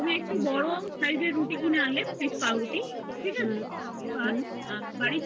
তুমি একটা বড়ো size রুটি কিনে আনলে Piece পাউরুটি আবার বাড়িতে